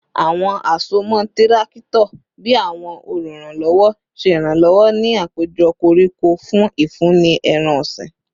Awọn asomọ tirakito bii awọn oluranlọwọ ṣe iranlọwọ ni apejọ koriko fun ifunni ẹran-ọsin